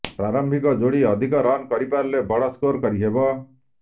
ପ୍ରାରମ୍ଭିକ ଯୋଡ଼ି ଅଧିକ ରନ୍ କରିପାରିଲେ ବଡ଼ ସ୍କୋର କରିହେବ